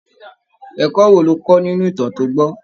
Ẹ̀kọ́ wo lo kọ́ nínú ìtàn to gbọ́?